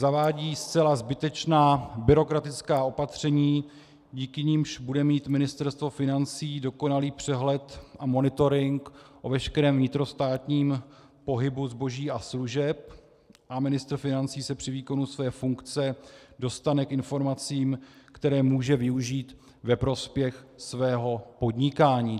Zavádí zcela zbytečná byrokratická opatření, díky nimž bude mít Ministerstvo financí dokonalý přehled a monitoring o veškerém vnitrostátním pohybu zboží a služeb a ministr financí se při výkonu své funkce dostane k informacím, které může využít ve prospěch svého podnikání.